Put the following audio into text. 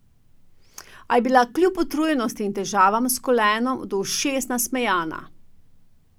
A je bila kljub utrujenosti in težavam s kolenom do ušes nasmejana.